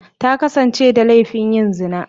Ta kasance da laifin yin zina.